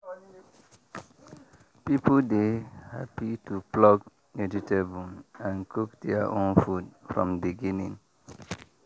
people dey happy to pluck vegetable and cook their own food from beginning.